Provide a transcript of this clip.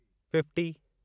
fifty